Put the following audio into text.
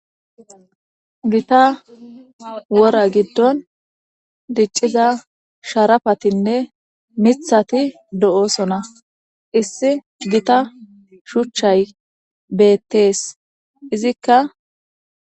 Gita wora gidon diciza sharapatinne mithati dosona issi gita shuchay betes izika.